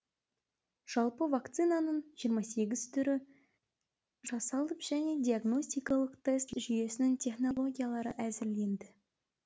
жалпы вакцинаның жиырма сегіз түрі жасалып және диагностикалық тест жүйесінің технологиялары әзірленді